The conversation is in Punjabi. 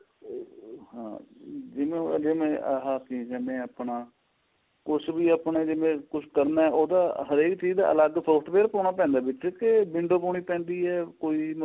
ਆਹ ਜਿਵੇਂ ਸੀਜ਼ਨ ਏ ਆਪਣਾ ਕੁੱਛ ਵੀ ਆਪਣਾਂ ਜਿਵੇਂ ਕੁੱਛ ਕਰਨਾ ਉਹਦਾ ਹਰੇਕ ਚੀਜ ਦਾ ਅਲੱਗ software ਪਾਉਣਾ ਪੈਂਦਾ ਵਿੱਚ ਕੇ window ਪਾਉਣੀ ਪੈਂਦੀ ਏ ਕੋਈ ਵੀ ਮਤਲਬ